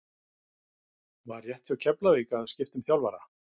Var rétt hjá Keflavík að skipta um þjálfara?